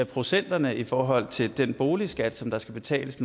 procenterne i forhold til den boligskat der skal betales